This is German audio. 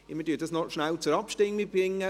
Wir stimmen noch rasch darüber ab.